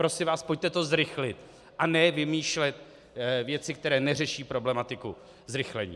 Prosím vás, pojďte to zrychlit, a ne vymýšlet věci, které neřeší problematiku zrychlení.